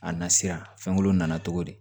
A nasira fɛnkolo nana cogo di